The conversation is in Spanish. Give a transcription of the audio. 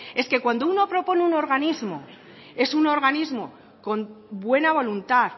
es que cuando uno propone un organismo es un organismo con buena voluntad